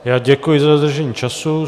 Já děkuji za dodržení času.